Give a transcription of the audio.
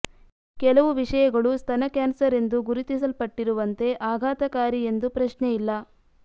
ಕೆಲವು ವಿಷಯಗಳು ಸ್ತನ ಕ್ಯಾನ್ಸರ್ ಎಂದು ಗುರುತಿಸಲ್ಪಟ್ಟಿರುವಂತೆ ಆಘಾತಕಾರಿ ಎಂದು ಪ್ರಶ್ನೆಯಿಲ್ಲ